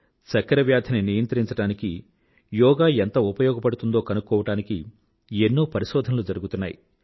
diabetes control చెయ్యడానికి యోగా ఎంత ఉపయోగపడుతుందో కనుక్కోవడానికి ఎన్నో పరిశోధనలు జరుగుతున్నాయి